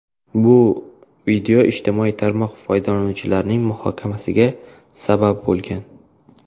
Bu video ijtimoiy tarmoq foydalanuvchilarining muhokamasiga sabab bo‘lgan.